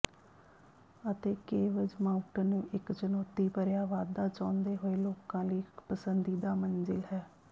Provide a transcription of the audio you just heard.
ਅਤੇ caves mountain ਇੱਕ ਚੁਣੌਤੀ ਭਰਿਆ ਵਾਧਾ ਚਾਹੁੰਦੇ ਹੋਏ ਲੋਕਾਂ ਲਈ ਇੱਕ ਪਸੰਦੀਦਾ ਮੰਜ਼ਿਲ ਹੈ